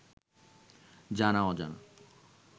জানা-অজানা